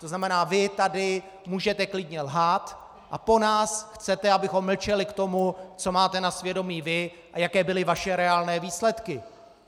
To znamená, vy tady můžete klidně lhát, a po nás chcete, abychom mlčeli k tomu, co máte na svědomí vy a jaké byly vaše reálné výsledky?